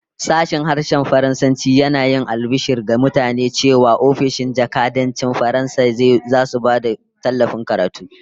Sashen Harshen Faransanci yana yin albishir ga mutane cewa ofishin jakadancin Faransa zasu ba da tallafin karatu